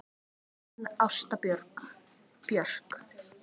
Þín Ásta Björk.